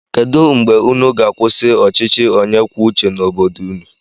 Kedụ mgbe ụnụ ga-akwụsị ọchịchị onye kwuo uche n'obodo ụnụ?